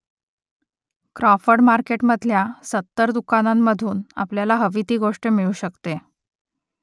Crawford मार्केटमधल्या सत्तर दुकानांमधून आपल्याला हवी ती गोष्ट मिळू शकते